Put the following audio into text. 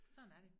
Sådan er det